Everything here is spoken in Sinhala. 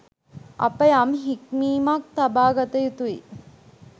අප යම් හික්මීමක් තබා ගත යුතුයි